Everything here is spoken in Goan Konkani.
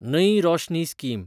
नई रोशनी स्कीम